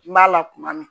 N b'a la kuma min